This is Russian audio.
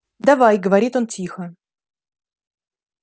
давай говорит он тихо